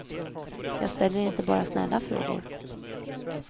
Jag ställer inte bara snälla frågor.